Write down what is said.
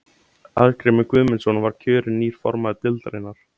Arngrímur Guðmundsson var kjörin nýr formaður deildarinnar.